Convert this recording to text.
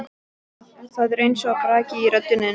Það er eins og braki í röddinni.